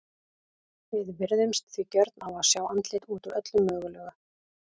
Við virðumst því gjörn á að sjá andlit út úr öllu mögulegu.